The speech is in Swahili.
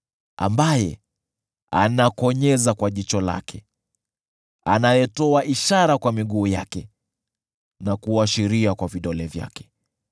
ambaye anakonyeza kwa jicho lake, anayetoa ishara kwa miguu yake na kuashiria kwa vidole vyake,